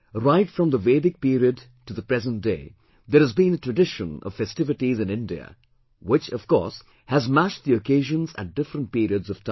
Right from the vedic period to the present day, there has been a tradition of festivities in India which, of course, has matched the occasions at different periods of time